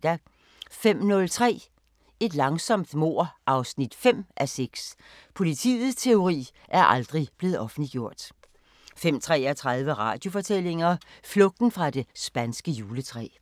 05:03: Et langsomt mord 5:6 – Politiets teori er aldrig blevet offentliggjort 05:33: Radiofortællinger: Flugten fra det spanske juletræ